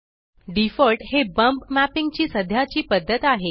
default हे bump mapping ची सध्याची पद्धत आहे